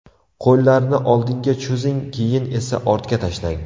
Qo‘llarni oldinga cho‘zing, keyin esa ortga tashlang.